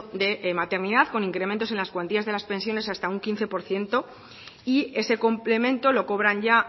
de maternidad con incrementos en las cuantías de las pensiones hasta un quince por ciento y ese complemento lo cobran ya